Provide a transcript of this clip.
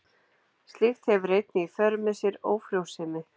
Slíkt hefur einnig í för með sér ófrjósemi.